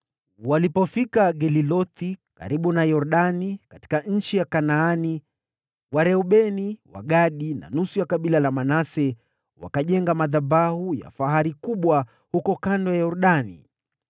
Walipofika Gelilothi karibu na Yordani, katika nchi ya Kanaani, Wareubeni, Wagadi na nusu ya kabila la Manase wakajenga madhabahu ya fahari kubwa huko kando ya Yordani.